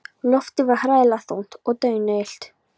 Loftið var hræðilega þungt og daunillt.